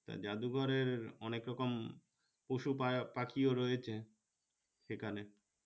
জাদুঘরের অনেক রকম পশু পাখিও রয়েছে সেখানে